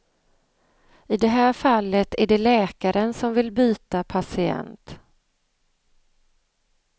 I det här fallet är det läkaren som vill byta patient.